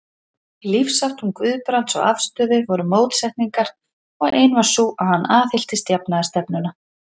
Í lífsháttum Guðbrands og afstöðu voru mótsetningar, og ein var sú, að hann aðhylltist jafnaðarstefnuna.